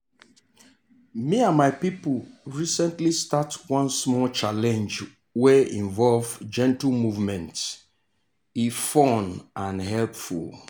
me and my people recently start one small challenge wey involve gentle movement e fun and helpful.